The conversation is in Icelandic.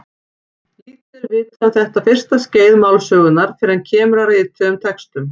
Lítið er vitað um þetta fyrsta skeið málsögunnar fyrr en kemur að rituðum textum.